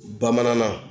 Bamanankan na